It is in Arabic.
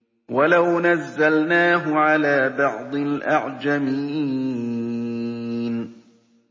وَلَوْ نَزَّلْنَاهُ عَلَىٰ بَعْضِ الْأَعْجَمِينَ